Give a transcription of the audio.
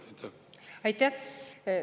Aitäh!